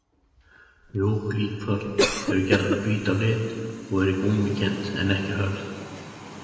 Mjúk líkþorn eru gjarnan hvít á lit og eru gúmmíkennd en ekki hörð.